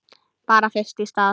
Bara fyrst í stað.